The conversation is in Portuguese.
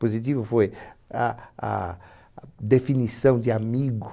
Positivo foi a a definição de amigo.